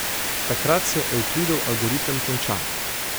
Takrat se Evklidov algoritem konča.